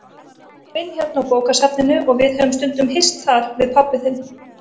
Ég vinn hérna á bókasafninu og við höfum stundum hist þar, við pabbi þinn.